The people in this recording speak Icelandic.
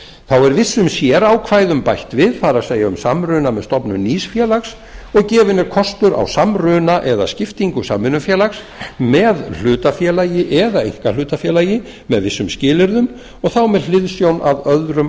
þá er vissum sérákvæðum bætt við það er um samruna með stofnun nýs félags og gefinn er kostur á samruna eða skiptingu samvinnufélags með hlutafélagi eða einkahlutafélagi með vissum skilyrðum og þá með hliðsjón af öðrum